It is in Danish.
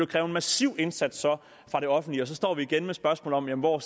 kræve en massiv indsats fra det offentlige og så står vi igen med spørgsmålet om hvor